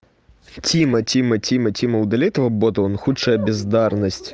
тима тима тима тима удалить этого бота он худшая бездарность